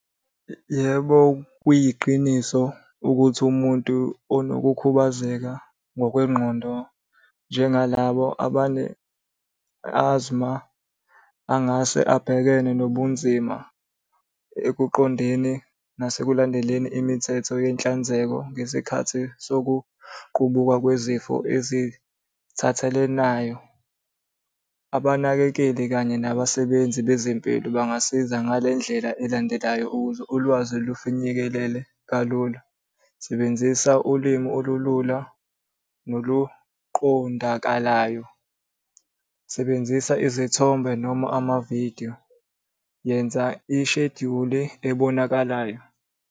Yebo, kuyiqiniso ukuthi umuntu onokukhubazeka ngokwengqondo njengalabo abane , angase abhekene nobunzima ekuqondeni nasekulandeleni imithetho yenhlanzeko ngesikhathi sokuqubuka kwezifo ezithathelanayo. Abanakekeli kanye nabasebenzi bezempilo bangasiza ngale ndlela elandelayo ukuze ulwazi lufinyekelele kalula. Sebenzisa ulimi olulula noluqondakalayo, sebenzisa izithombe noma amavidiyo. Yenza isheduli ebonakalayo.